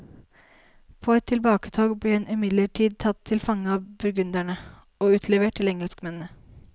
På et tilbaketog ble hun imidlertid tatt til fange av burgundere, og utlevert til engelskmennene.